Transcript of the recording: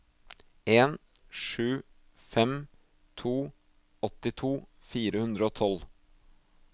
en sju fem to åttito fire hundre og tolv